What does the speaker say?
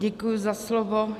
Děkuji za slovo.